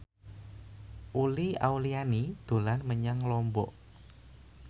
Uli Auliani dolan menyang Lombok